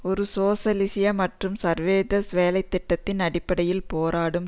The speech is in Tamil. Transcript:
ஒரு சோசலிசிய மற்றும் சர்வதேசிய வேலை திட்டத்தின் அடிப்படையில் போராடும்